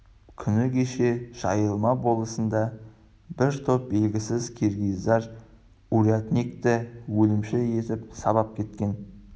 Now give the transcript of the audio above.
күні кеше жайылма болысында бір топ белгісіз киргиздар урядникті өлімші етіп сабап кеткен